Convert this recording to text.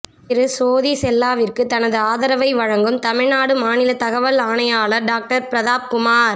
திரு சோதி செல்லாவிற்கு தனது ஆதரவை வழங்கும் தமிழ்நாடு மாநில தகவல் ஆணையாளர் டாக்டர் பிரதாப் குமார்